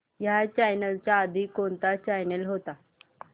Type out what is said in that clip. ह्या चॅनल च्या आधी कोणता चॅनल होता